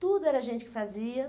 Tudo era a gente que fazia.